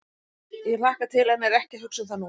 Ég hlakka til en er ekki að hugsa um það núna.